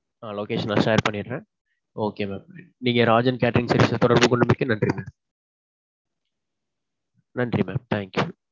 ஆ location நான் share பண்ணிர்றேன். okay mam. நீங்க ராஜன் catering service க்கு தொடர்பு கொண்டமைக்கு நன்றி mam. நன்றி mam. Thank you